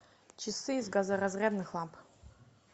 часы из газоразрядных ламп